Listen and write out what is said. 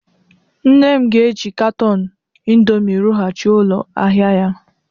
Nne m ga-eji katọn indomi rụghachi ụlọ ahịa ya